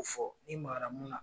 Ko fɔ i magara mun na.